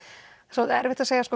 svolítið erfitt að segja